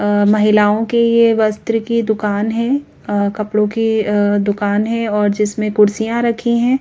आह महिलाओं की वस्त्र की दुकान है आ कपड़ो के आह्ह दुकान है और जिसमें कुर्सिया रखी है।